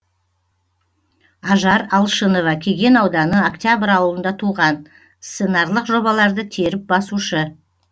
ажар алшынова кеген ауданы октябрь ауылында туған сценарлық жобаларды теріп басушы